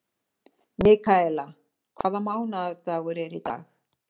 Mikaela, hvaða mánaðardagur er í dag?